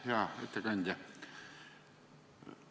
Hea ettekandja!